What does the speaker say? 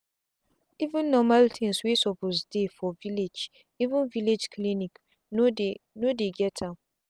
even normal things wey suppose dey for villageeven villlage clinics no dey no dey get am